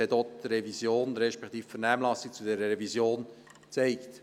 Dies hat auch die Vernehmlassung zu dieser Revision gezeigt.